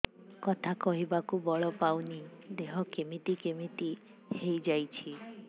କଥା କହିବାକୁ ବଳ ପାଉନି ଦେହ କେମିତି କେମିତି ହେଇଯାଉଛି